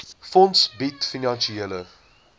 fonds bied finansiële